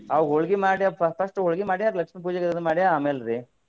ಅವಾಗ ಹೊಳ್ಗಿ ಮಾಡೆ fir~ first ಹೊಳ್ಗಿ ಮಾಡೆ ಅದು ಲಕ್ಷ್ಮೀ ಪೂಜೆಗೆ ಆಮೇಲ್ರಿ.